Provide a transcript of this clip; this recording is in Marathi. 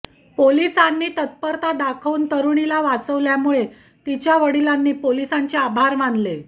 पोलिसांनी तत्परता दाखवून तरुणीला वाचविल्यामुळे तिच्या वडिलांनी पोलिसांचे आभार मानले